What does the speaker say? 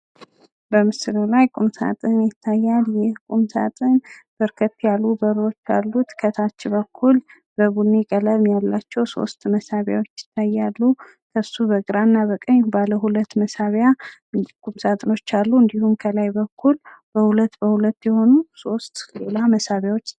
በምስሉ ላይ ቁም ሳጥን ይታያል። ይህ ቁም ሳጥን በርከት ያሉ በሮች አሉት። ከታች በኩል ቡኒ ቀለም ያላቸው ሶስት መሳቢያዎች ይታያሉ። እሱ በግራ እና በቀኝ ባለሁለት መሳቢያ ቁም ሳጥኖች አሉ። እንዲሁም ከላይ በኩል በሁለት በሁለት የሆኑ ሶስት ሌላ መሳቢያዎች